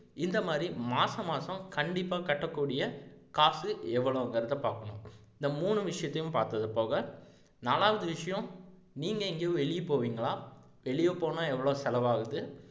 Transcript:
இந்த மாதிரி மாச மாசம் கண்டிப்பா கட்டக்கூடிய காசு எவ்வளவுங்கிறதை பாக்கணும் இந்த மூணு விசயத்தையும் பார்த்தது போக நாலாவது விஷயம் நீங்க எங்கயும் வெளிய போவீங்களா வெளிய போனா எவ்வளவு செலவு ஆகுது